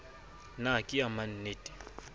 na ke ya mannte le